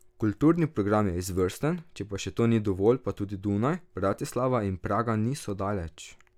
Kulturni program je izvrsten, če pa še to ni dovolj, pa tudi Dunaj, Bratislava in Praga niso daleč.